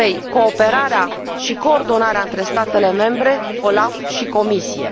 cooperarea și coordonarea între statele membre, OLAF și Comisie.